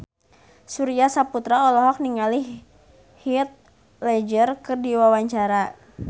Surya Saputra olohok ningali Heath Ledger keur diwawancara